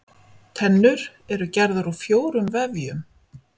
Tennur eru gerðar úr fjórum vefjum.